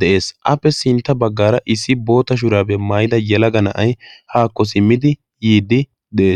de7ees appe sintta baggaara issi boota shuraabiyaa maayida yalaga na7ai haakko simmidi yiiddi de7ees